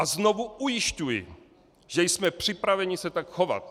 A znovu ujišťuji, že jsme připraveni se tak chovat.